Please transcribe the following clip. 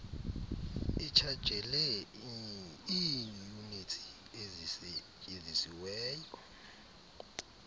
itshajele iiyunitsi ezisetyenzisiweyo